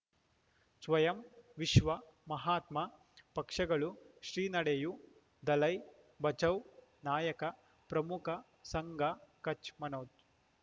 ಸ್ವಯಂ ವಿಶ್ವ ಮಹಾತ್ಮ ಪಕ್ಷಗಳು ಶ್ರೀ ನಡೆಯೂ ದಲೈ ಬಚೌ ನಾಯಕ ಪ್ರಮುಖ ಸಂಘ ಕಚ್ ಮನೋಜ್